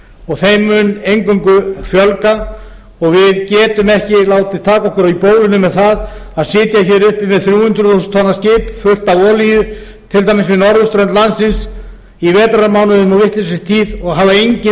og þeim mun eingöngu fjölga og við getum ekki látið taka okkur í bólinu með það að sitja hér uppi með þrjú hundruð þúsund tonna skip fullt af olíu til dæmis við norðurströnd landsins á vetrarmánuðum í vitlausri tíð og hafa ekki undirbúið nein